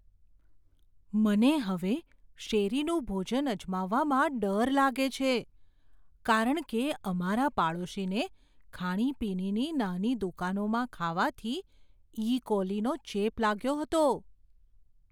મને હવે શેરીનું ભોજન અજમાવવામાં ડર લાગે છે કારણ કે અમારા પાડોશીને ખાણીપીણીની નાની દુકાનોમાં ખાવાથી ઇકોલીનો ચેપ લાગ્યો હતો.